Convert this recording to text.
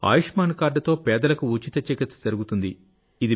ఆయుష్మాన్ కార్డుతో పేదలకు ఉచిత చికిత్సజరుగుతుంది